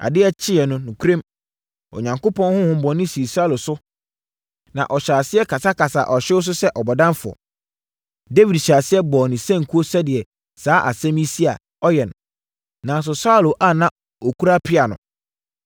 Adeɛ kyeeɛ no, nokorɛm, Onyankopɔn honhommɔne sii Saulo so ma ɔhyɛɛ aseɛ kasakasaa ɔhyew so sɛ ɔbɔdamfoɔ. Dawid hyɛɛ aseɛ bɔɔ ne sankuo sɛdeɛ saa asɛm yi si a, ɔyɛ no. Nanso, Saulo a na ɔkura pea no,